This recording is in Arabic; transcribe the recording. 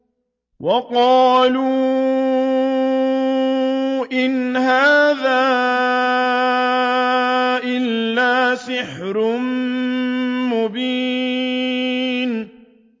وَقَالُوا إِنْ هَٰذَا إِلَّا سِحْرٌ مُّبِينٌ